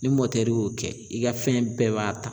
Ni mɔtɛri y'o kɛ i ka fɛn bɛɛ b'a ta.